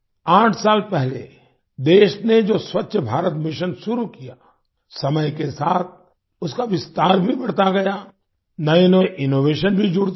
आठ साल पहले देश ने जो स्वच्छ भारत मिशन शुरू किया समय के साथ उसका विस्तार भी बढ़ता गया नएनए इनोवेशन भी जुड़ते गए